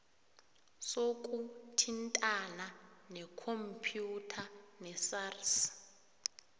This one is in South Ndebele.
sokuthintana ngekhompyutha nesars